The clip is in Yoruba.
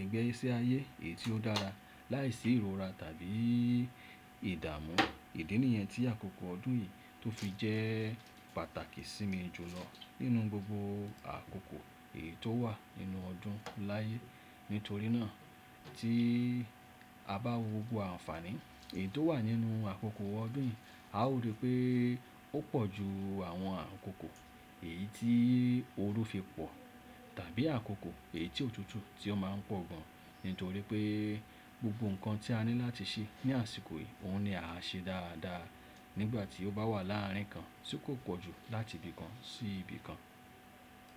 igbẹ́si ayé èyí tí ó dára láìsí ìrora tàbí ìdàmú. Ìdí nìyẹn tí àkókò ọdún yìí tó fi jẹ́ pàtàkì sí mi jùlọ nínú gbogbo àkókò èyí tó wà nínú ọdún láyé. Nítorí náà tí a bá wo gbogbo àǹfààní èyí tó wà nínú àkókò ọdún bín, a ó rí pé ó pọ̀ ju àwọn àkókò èyí tí ooru fi pọ̀ tàbí àkókò èyí tí òtútù tí ó má ń pọ̀ gan. Nítorí pé gbogbo nǹkan tí a ní láti ṣe ní àsìkò yìí, òun ni a ṣe dáadáa nígbà tí ó bá wà láàárín kan tí kò pọ̀ jù láti ibi kan sí ibi kan.